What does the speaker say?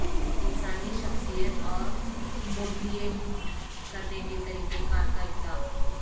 انسانی شخصیت اور پورٹریٹ کرنے کے طریقہ کار کا اطلاق